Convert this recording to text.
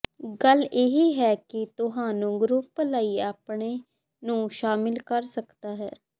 ਗੱਲ ਇਹ ਹੈ ਕਿ ਤੁਹਾਨੂੰ ਗਰੁੱਪ ਲਈ ਆਪਣੇ ਨੂੰ ਸ਼ਾਮਿਲ ਕਰ ਸਕਦਾ ਹੈ